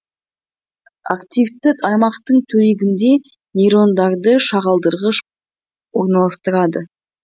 активті аймақтың төңрегінде нейтрондарды шағылдырғыш орналастырады